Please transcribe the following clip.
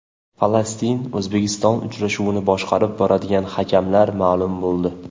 Falastin O‘zbekiston uchrashuvini boshqarib boradigan hakamlar ma’lum bo‘ldi.